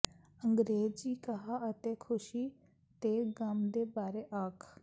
ਅੰਗਰੇਜ਼ੀ ਕਹਾ ਅਤੇ ਖ਼ੁਸ਼ੀ ਤੇ ਗਮ ਦੇ ਬਾਰੇ ਆਖ